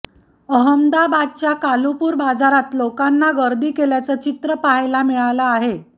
अहमदाबादच्या कालुपुर बाजारात लोकांना गर्दी केल्याचं चित्र पाहायला मिळालं आहे